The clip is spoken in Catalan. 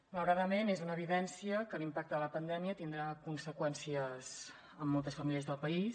malauradament és una evidència que l’impacte de la pandèmia tindrà conseqüències en moltes famílies del país